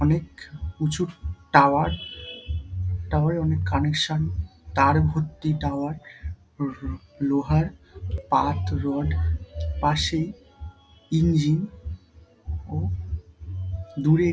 অনেক উঁচু tower tower - এ অনেক কানেকশন তার ভর্তি টাওয়ার লো লো লোহার পার্ট রড পাশে ইঞ্জিন ও দূরে --